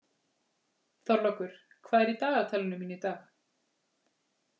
Þorlákur, hvað er í dagatalinu mínu í dag?